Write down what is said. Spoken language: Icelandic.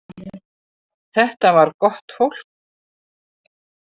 Þetta var gott fólk.